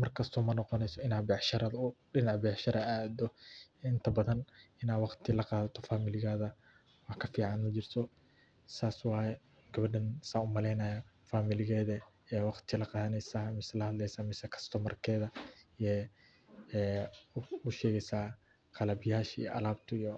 mar kasta ma noqoneyso inaa dinaca becsharada aa aado, inta badan inaa waqti la qaadata familigaada wax ka fiican majiro saas waaye, gawadaan saan umaleynaayo familigeeda waqti la qaadaneysaa mise la hadleysaa mise kastomarkeeda wax usheegeysaa qalab yaasha iyo alabta